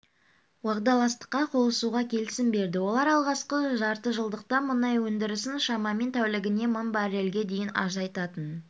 уағдаластыққа қосылуға келісім берді олар алғашқы жартыжылдықта мұнай өндірісін шамамен тәулігіне мың баррельге дейін азайтатын